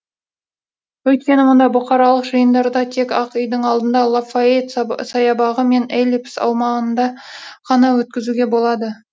өйткені мұнда бұқаралық жиындарды тек ақ үйдің алдында лафайет саябағы мен эллипс аумағында ғана өткізуге болады